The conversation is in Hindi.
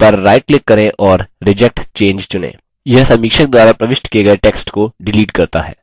पर राइट क्लिक करें और reject change चुनें यह समीक्षक द्वारा प्रविष्ट किये गये टेक्स्ट को डिलीट करता है